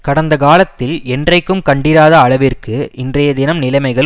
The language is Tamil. கடந்த காலத்தில் என்றைக்கும் கண்டிராத அளவிற்கு இன்றைய தினம் நிலைமைகள்